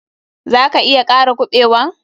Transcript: Za ka iya kara kuɓewan?